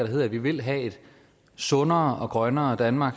hedder at vi vil have et sundere og grønnere danmark